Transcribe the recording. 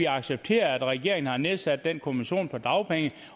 accepteret at regeringen har nedsat den kommission om dagpenge